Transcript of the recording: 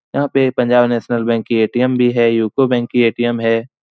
यहाँ पे Punjab national bank की ऐटीएम भी है। यूको बैंक की ऐटीएम है।